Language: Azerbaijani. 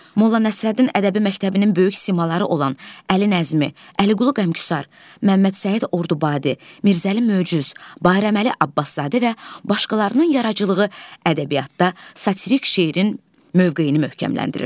Molla Nəsrəddin ədəbi məktəbinin böyük simaları olan Əli Nəzmi, Əliqulu Qəmküsar, Məmməd Səid Ordubadi, Mirzəli Möcüz, Bayraməli Abbaszadə və başqalarının yaradıcılığı ədəbiyyatda satirik şeirin mövqeyini möhkəmləndirirdi.